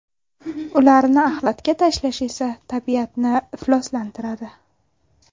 Ularni axlatga tashlash esa tabiatni ifloslantiradi.